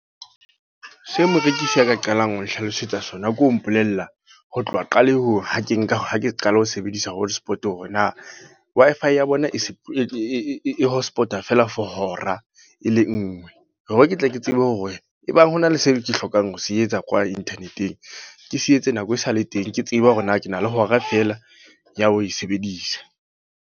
Se morekisi a ka qalang ho nhlalosetsa sona. Ke ho mpolella, ho tloha qalehong ha ke nka, ha ke qala ho sebedisa hotspot. Hore na Wi-Fi ya bona e se e hotspot, a feela for hora e le nngwe. Hore ketle ke tsebe hore ebang ho na le seo ke hlokang ho se etsa kwa internet-eng. Ke se etse nako e sale teng. Ke tseba hore na ke na le hora fela ya ho e sebedisa.